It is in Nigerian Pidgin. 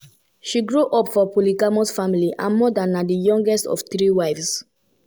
she grow up for polygamous family her mother na di youngest of three wives.